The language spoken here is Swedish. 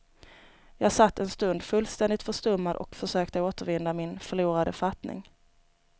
Jag satt en stund fullständigt förstummad och försökte återvinna min förlorade fattning.